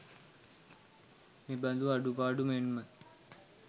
මෙබඳු අඩුපාඩු මෙන්ම